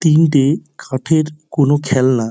তিনটে কাঠের কোনো খেলনা ।